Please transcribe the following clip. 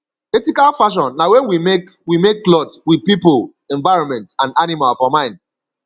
ethical fashion na when we make we make cloth with pipo environment and animal for mind